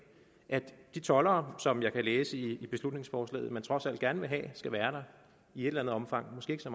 de toldere som jeg kan læse i beslutningsforslaget at man trods alt gerne vil have skal være der i et eller andet omfang måske ikke så